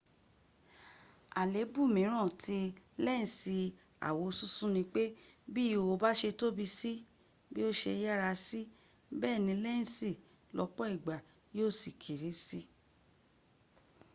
àléébù mìíràn tí lẹ́ǹsì àwosúnsún nipé bi ihò bà ṣe tóbi sí bí o ṣe yára sí bẹẹni lẹ́ǹsì lọ́pọ̀ ìgbà yíò sì kéré sí